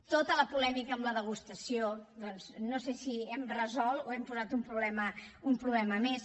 tota la polèmica amb la degustació doncs no sé si hem resolt o hem posat un problema més